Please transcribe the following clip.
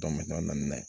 naani ye